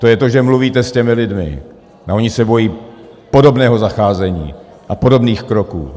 To je to, že mluvíte s těmi lidmi, a oni se bojí podobného zacházení a podobných kroků.